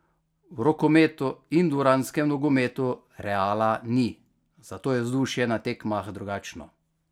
V rokometu in dvoranskem nogometu Reala ni, zato je vzdušje na tekmah drugačno.